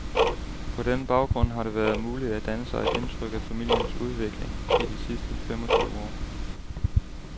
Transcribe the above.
På den baggrund har det været muligt at danne sig et indtryk af familiens udvikling i de sidste femogtyve år.